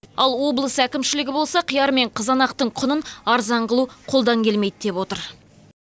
ал облыс әкімшілігі болса қияр мен қызанақтың құнын арзан қылу қолдан келмейді деп отыр